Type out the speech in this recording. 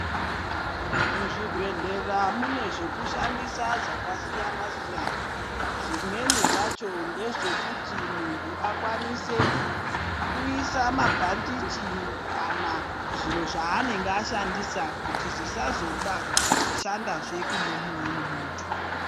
Muzvibhedhlera mune zvekushandisa zvakasiyana siyana zvimweni zvacho ngezvekushandisa kuisa mabhandeji kana zviro zvanenge ashandisa kuti zvisazobatwa futi neumweni muntu